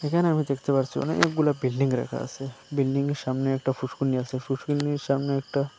এখানে আমি দেখতে পারসি অনেকগুলা বিল্ডিং রাখা আসে বিল্ডিং -এর সামনে একটা ফুষ্করিণী আসে ফুষ্করিণীর সামনে একটা--